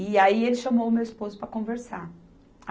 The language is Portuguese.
E aí ele chamou o meu esposo para conversar.